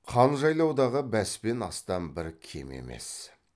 қан жайлаудағы бәс пен астан бір кем емес